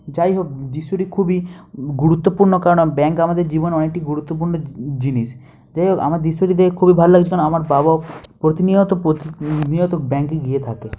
যাই হোক দৃশ্যটি খুবই গুরুত্বপূর্ণ ব্যাংক আমাদের জীবনে অনেকটি গুরুত্বপূর্ণ জি জিনিস । যাই হোক আমার দৃশ্যটি খুবই ভালো লাগছে আমার বাবাও প্রতিনিয়ত প প্রতিনিয়ত ব্যাঙ্ক -এ গিয়ে থাকে--